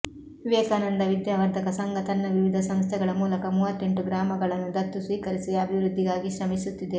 ವಿವೇಕಾನಂದ ವಿದ್ಯಾವರ್ಧಕ ಸಂಘ ತನ್ನ ವಿವಿಧ ಸಂಸ್ಥೆಗಳ ಮೂಲಕ ಮೂವತ್ತೆಂಟು ಗ್ರಾಮಗಳನ್ನು ದತ್ತು ಸ್ವೀಕರಿಸಿ ಅಭಿವೃದ್ಧಿಗಾಗಿ ಶ್ರಮಿಸುತ್ತಿದೆ